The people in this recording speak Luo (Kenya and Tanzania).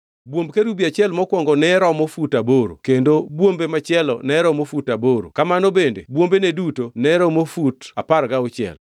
Bwomb kerubi achiel mokwongo ne romo fut aboro kendo bwombe machielo ne romo fut aboro kamano bende bwombene duto ne romo fut apar gauchiel.